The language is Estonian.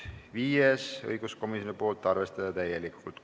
Viies on õiguskomisjonilt, arvestada täielikult.